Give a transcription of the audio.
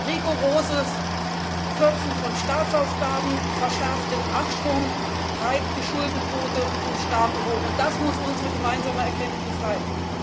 Rigoroses Kürzen von Staatsausgaben verschärft den Abschwung, treibt die Schuldenquote von Staaten hoch, und das muss unsere gemeinsame Erkenntnis sein.